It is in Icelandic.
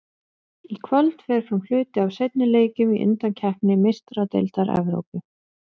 Í kvöld fer fram hluti af seinni leikjunum í undankeppni Meistaradeildar Evrópu.